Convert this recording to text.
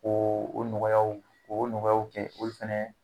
Ko o nɔgɔyaw k'o nɔgɔyaw kɛ olu fɛnɛ